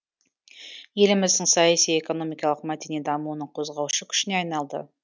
еліміздің саяси экономикалық мәдени дамуының қозғаушы күшіне айналды